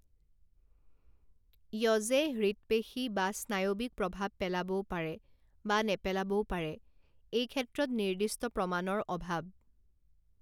য়জে হৃৎপেশী বা স্নায়ৱিক প্ৰভাৱ পেলাবও পাৰে বা নেপেলাবও পাৰে; এইক্ষেত্ৰত নিৰ্দিষ্ট প্ৰমাণৰ অভাৱ।